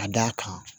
Ka d'a kan